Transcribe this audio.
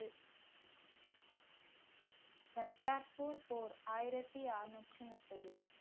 கர்த்தார்பூர் போர் ஆயிரத்தி அறுநூற்றி முப்பது